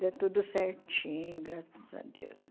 Deu tudo certinho, graças a Deus.